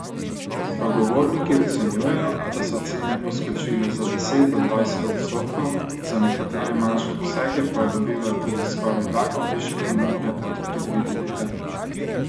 Sogovorniki ocenjujejo, da so cene poskočile za deset do dvajset odstotkov, za nekatere manjše posege pa dobivajo tudi skoraj dvakrat višje ponudbe od predvidenega.